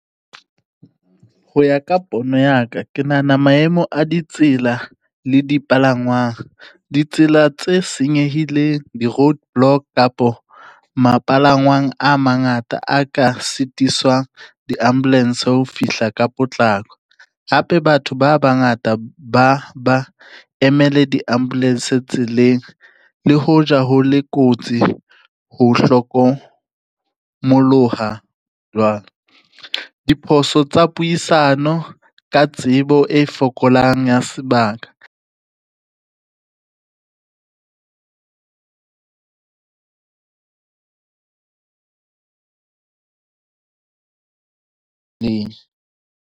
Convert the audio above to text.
Ho ya ka pono ya ka ke nahana maemo a ditsela le dipalangwang, ditsela tse senyehileng di-road block kapo mapalangwang a mangata a ka sitisang di-ambulance ho fihla ka potlako, hape batho ba bangata ba emele di-ambulance tseleng le hoja ho le kotsi ho hlokomoloha diphoso tsa puisano ka tsebo e fokolang ya sebaka.